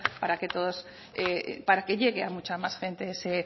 para que llegue a mucha más gente ese